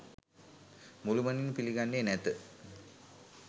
මුළුමනින්ම පිළිගන්නේ නැත